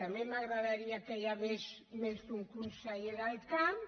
també m’agradaria que hi hagués més d’un conseller del camp